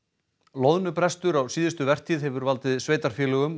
loðnubrestur á síðustu vertíð hefur valdið sveitarfélögum